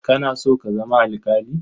Kana so ka zama alƙali?